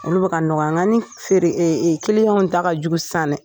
Olu bɛ ka nɔgɔya n ka ni feere kilinyaw ta ka jugu sisan dɛ